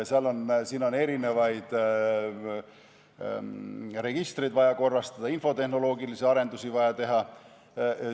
On vaja korrastada erinevaid registreid, infotehnoloogilisi arendusi on vaja teha.